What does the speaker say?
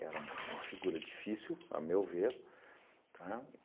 Era uma uma figura difícil, a meu ver, tá?